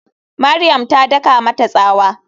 Mariam ta daka mata tsawa.